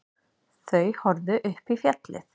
Þau horfðu upp í fjallið.